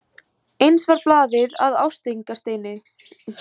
Eins varð blaðið að ásteytingarsteini.